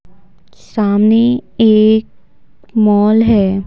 सामने एक मॉल है।